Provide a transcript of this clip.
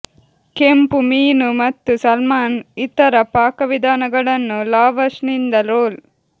ಕೆಂಪು ಮೀನು ಮತ್ತು ಸಾಲ್ಮನ್ ಇತರ ಪಾಕವಿಧಾನಗಳನ್ನು ಲಾವಶ್ ನಿಂದ ರೋಲ್